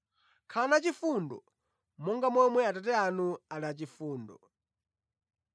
Khalani achifundo, monga momwe Atate anu ali achifundo.”